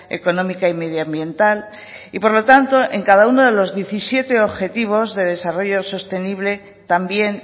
económica y medioambiental y por lo tanto en cada uno de los diecisiete objetivos de desarrollo sostenible también